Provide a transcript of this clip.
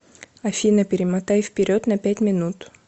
афина перемотай вперед на пять минут